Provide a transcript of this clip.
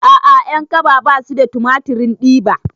A'a ƴankaba basu da tumatirin diba